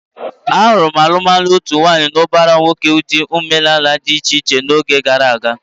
A hụrụ alụmalụ otu nwaanyị na ụbara nwoke n'ụdị omenala dị iche iche n'oge gara aga.